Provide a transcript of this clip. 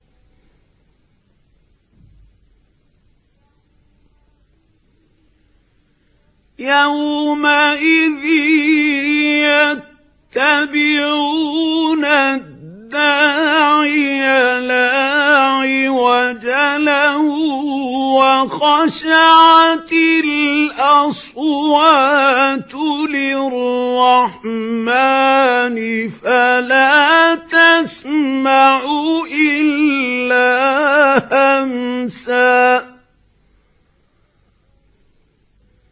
يَوْمَئِذٍ يَتَّبِعُونَ الدَّاعِيَ لَا عِوَجَ لَهُ ۖ وَخَشَعَتِ الْأَصْوَاتُ لِلرَّحْمَٰنِ فَلَا تَسْمَعُ إِلَّا هَمْسًا